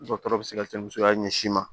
Dɔgɔtɔrɔ bɛ se ka kɛ musoya ɲɛsin ma